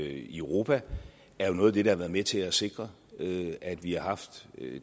i europa er jo noget af det der har været med til at sikre at vi har haft